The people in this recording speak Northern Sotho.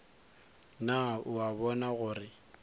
na o a bona gore